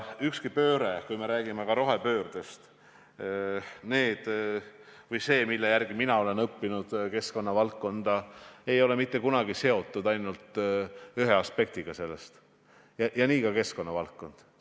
Ükski pööre, ka mitte rohepööre – vastavalt sellele, mida mina olen keskkonnavaldkonna kohta õppinud – ei ole kunagi seotud ainult ühe aspektiga, ja nii on ka keskkonnavaldkonna puhul.